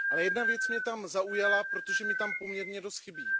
Ale jedna věc mě tam zaujala, protože mně tam poměrně dost chybí.